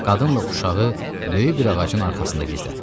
Qadınla uşağı böyük bir ağacın arxasında gizlətdi.